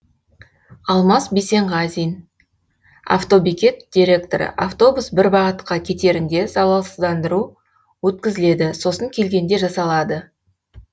алмас бейсенғазин автобекет директоры автобус бір бағытқа кетерінде залалсызданыру өткізіледі сосын келгенде жасалады